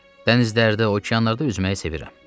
Dənizlərdə, okeanlarda üzməyi sevirəm.